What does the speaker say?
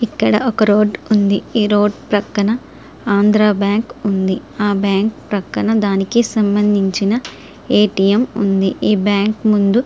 ఇక్కడ ఒక రోడ్డు ఉంది. రోడ్డు ప్రక్కన ఆంధ్ర బ్యాంకు పక్కన సంబంధించిన ఏటీఎం ఉంది. ఆ బ్యాంకు ముందు--